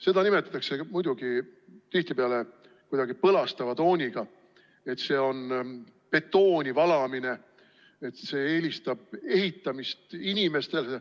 Seda nimetatakse tihtipeale kuidagi põlastava tooniga, et see on betooni valamine, et eelistatakse ehitamist inimestele.